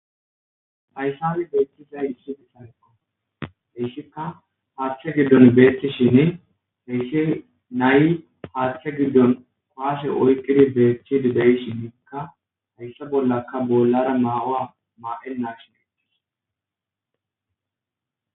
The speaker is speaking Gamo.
Hayssami beettizay isshidi sayqa heyssikka haaththe giddon beeththi shin heyssi nayi haadhithe giddon koashe oykkidi beetchchidi deyi shinniikka hayssa bollakka bollara maawa maa,en nagshin ittis.